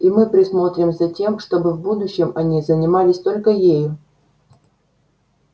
и мы присмотрим за тем чтобы в будущем они занимались только ею